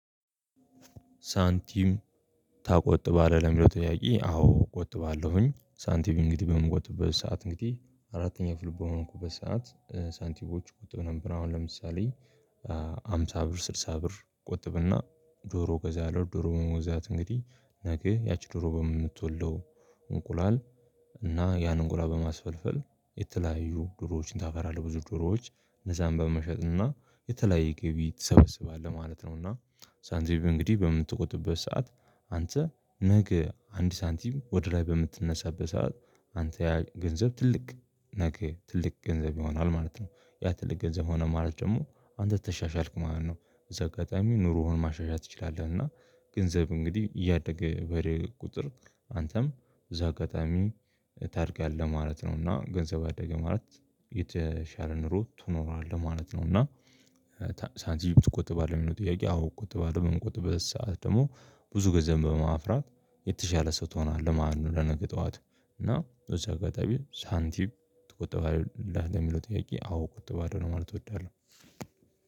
ሳንቲም ታቆጥባለህ ለሚለው ጥያቄ አዎ? እቆጥባለሁኝ ሳንቲም እንግዲህ በምቆጥበት ሰዓት እንግዲህ አራተኛ ክፍል በሆንኩበት ሰዓት ሳንቲሞች እቆጥብ ነበር። አሁን ለምሳሌ ሃምሳ ብር ስልሳ ብር እቆጥብና ዶሮ እገዛለሁ ዶሮ በመግዛት እንግዲህ ነገ ያቺ ዶሮ በምትወልደው እንቁላል እና ያንን እንቁላል በማስፈልፈል የተለያዩ ዶሮዎችን ታፈራለህ ብዙ ድሮዎች እነዛን በመሸጥና የተለያየ ግቢ ትሰበስባለህ ማለት ነውና። ሳንቲም እንግዲህ በምትቆጥበት ሰዓት አንተ ነገ አንድ ሳንቲም ወደ ላይ በምትነሳበት ሰዓት አንተ ያህል ገንዘብ ትልቅ ነገ ትልቅ ገንዘብ ይሆናል ማለት ነው። ያ ትልቅ ገንዘብ ሆነ ማለት ደግሞ አንተ ተሻሻልክ ማለት ነው። በዚህ አጋጣሚ ኑሮህን ማሻሻል ትችላለህ እና ገንዘብ እንግዲህ እያደገ በሄደ ቁጥር አንተም እዛ አጋጣሚ ታድጋለህ ማለት ነው። እና ገንዘብ አደገ ማለት የተሻለ ኑሮ ትኖራለህ ማለት ነው። እና ሳንቲም ትቆጥባለህ ለሚለው ጥያቄ? አዎ እቆጥባለህ በምንቆጥበት ሰዓት ደግሞ ብዙ ገንዘብ በማፍራት የተሻለ ሰው ትሆናለህ። ማን ለነገ ጠዋት እና በዚ አጋጣሚ ሳንቲም ተቆጠባለህ ለሚለው ጥያቄ? አዎ እቆጥባለሁ ለማለት እወዳለሁ።